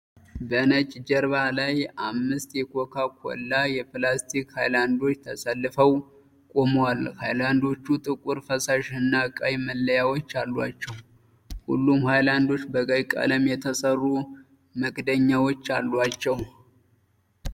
በነጭ ጀርባ ላይ አምስት የኮካ ኮላ የፕላስቲክ ሃይላንዶች ተሰልፈው ቆመዋል። ሃይላንዶቹ ጥቁር ፈሳሽና ቀይ መለያዎች አሏቸው። ሁሉም ሃይላንዶች በቀይ ቀለም የተሰሩ መክደኛዎች አሏቸው።